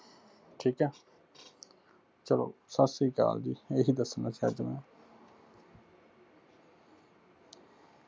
ਠੀਕ ਹੈ ਚਲੋ ਸਾਸਰੀਕਾਲ ਜੀ ਏਹੀ ਦੱਸਣਾ ਸਬ ਨੂੰ।